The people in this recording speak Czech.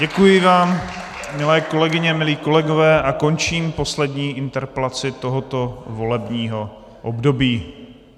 Děkuji vám, milé kolegyně, milí kolegové, a končím poslední interpelaci tohoto volebního období.